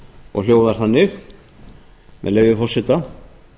og hljóðar þannig a leyfi forseta